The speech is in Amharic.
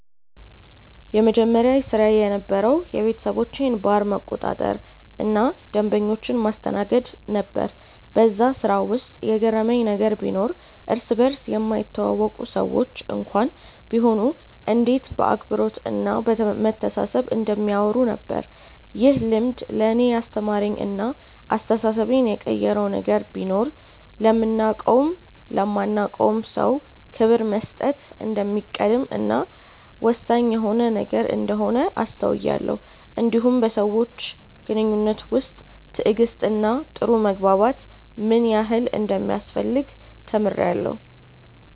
የመጀመሪያ ስራዬ የነበረዉ የቤተሰቦቼን ባር መቆጣጠር እና ደንበኞችን ማስተናገድ ነበር በዛ ስራ ውስጥ የገረመኝ ነገር ቢኖር እርስ በርስ የማይተዋወቁ ሰዎች እንኳን ቢሆኑ እንዴት በአክብሮት እና በመተሳሰብ እንደሚያወሩ ነበር። ይህ ልምድ ለእኔ ያስተማረኝ እና አስተሳሰቤን የቀየረው ነገር ቢኖር ለምናቀውም ለማናቀውም ሰው ክብር መስጠት እንደሚቀድም እና ወሳኝ የሆነ ነገር እንደሆነ አስተውያለው እንዲሁም በሰዎች ግንኙነት ውስጥ ትዕግስት እና ጥሩ መግባባት ምን ያህል እንደሚያስፈልግ ተምሬአለሁ።